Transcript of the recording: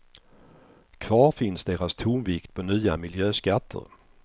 Kvar finns deras tonvikt på nya miljöskatter.